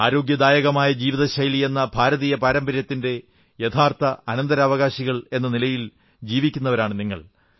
ആരോഗ്യദായകമായ ജീവിതശൈലിയെന്ന ഭാരതീയ പാരമ്പര്യത്തിന്റെ യഥാർഥ അനന്തരാവകാശികൾ എന്ന നിലയിൽ ജീവിക്കുന്നവരാണു നിങ്ങൾ